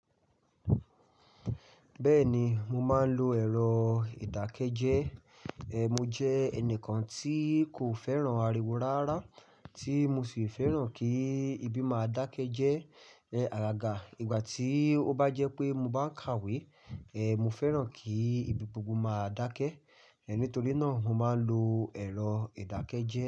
Bẹ́ẹ̀ni, mo máa ń lo ẹ̀rọ ìdákẹ́jẹ́. Mo jẹ́ ẹnìkan tí kò fẹ́ràn ariwo rárá tí mo sì fẹ́ràn kí ibí máa dákẹ́ jẹ́. Agaga, ìgbà tí ó bá jẹ́ pé mo bá ń kàwé, e mo fẹ́ràn kí ibi gbogbo máa dákẹ́. Nítorí náà mo máa ń lo ẹ̀rọ ìdákẹ́jẹ́